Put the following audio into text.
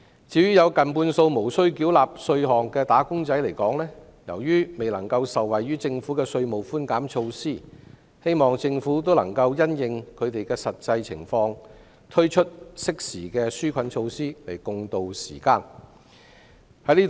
至於有近半數無須繳納稅款的"打工仔"來說，由於未能受惠於政府的稅務寬減措施，希望政府能夠因應他們的實際情況，適時推出紓困措施以助共渡時艱。